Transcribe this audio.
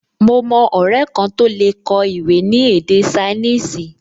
Mo mọ ọrẹ kan tó lè kọ ìwé ní èdè ṣainíìsì